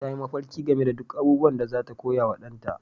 Ta yi mafarki game da duk abubuwan da za ta koya wa ɗanta